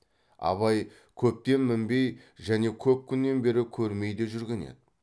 абай көптен мінбей және көп күннен бері көрмей де жүрген еді